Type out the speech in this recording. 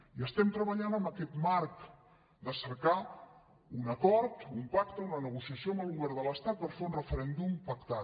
i estem treballant en aquest marc de cercar un acord un pacte una negociació amb el govern de l’estat per fer un referèndum pactat